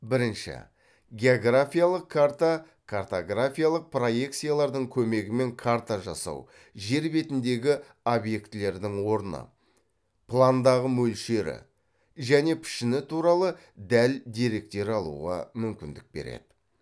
бірінші географиялық карта картографиялық проекциялардың көмегімен карта жасау жер бетіндегі объектілердің орны пландағы мөлшері және пішіні туралы дәл деректер алуға мүмкіндік береді